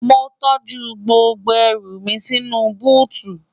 mo tọ́jú gbogbo ẹrù mi sínú u búùtù